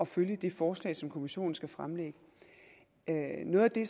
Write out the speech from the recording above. følge det forslag som kommissionen skal fremlægge noget af det